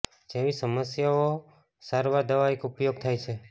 જેવી સમસ્યાઓ સારવાર દવા એક ઉપયોગ થાય છે